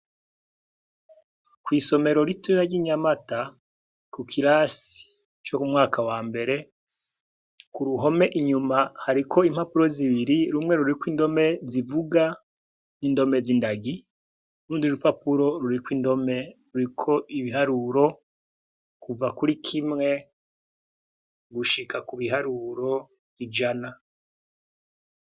Kw'isomero ritoya ry'inyamata ku kirasi co ku mwaka wa mbere ku ruhome inyuma hariko impapuro zibiri rumwe ruriko indome zivuga n'indome z'indagi, urundi rupapuro ruriko indome ruriko ibiharuro kuva kuri kimwe gushika ku biharuro ijana.